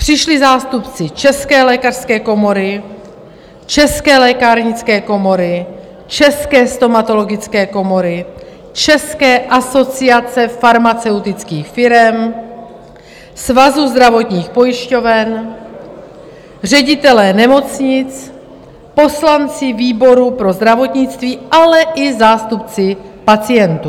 Přišli zástupci České lékařské komory, České lékárnické komory, České stomatologické komory, České asociace farmaceutických firem, Svazu zdravotních pojišťoven, ředitelé nemocnic, poslanci výboru pro zdravotnictví, ale i zástupci pacientů.